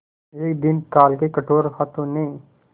एक दिन काल के कठोर हाथों ने